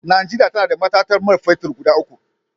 Najeriya tana da matatar man fetir guda uku.